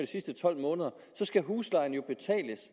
sidste tolv måneder skal huslejen jo betales